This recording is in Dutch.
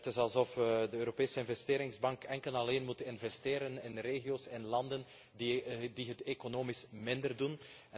Het is alsof de Europese Investeringsbank enkel en alleen moet investeren in regio's en landen die het economisch minder goed doen.